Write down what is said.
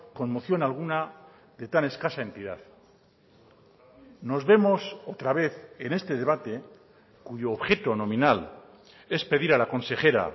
con moción alguna de tan escasa entidad nos vemos otra vez en este debate cuyo objeto nominal es pedir a la consejera